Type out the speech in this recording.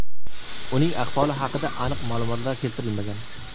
Uning ahvoli haqida aniq ma’lumotlar keltirilmagan.